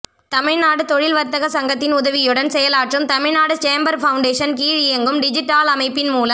தமிழ்நாடு தொழில் வர்த்தக சங்கத்தின் உதவியுடன் செயலாற்றும் தமிழ்நாடு சேம்பர் ஃபவுண்டேஷன் கீழ் இயங்கும் டிஜிட் ஆல் அமைப்பின் மூலம்